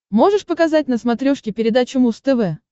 можешь показать на смотрешке передачу муз тв